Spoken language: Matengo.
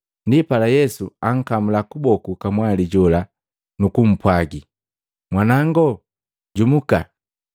Ndipala Yesu ankamula kuboku kamwali jola nukumpwaagi, “Mwanango, jumuka!”